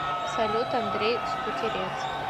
салют андрей скутерец